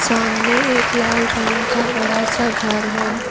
सामने एक लाल रंग का बड़ा सा घर है।